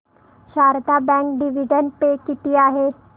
Sharda bank dividend pay किती आहे